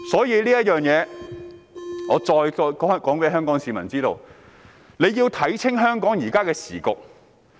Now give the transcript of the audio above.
因此，我再次公開告訴香港市民，大家要看清楚香港的時局。